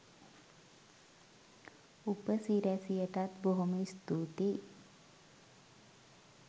උපසිරැසියටත් බොහොම ස්තූතියි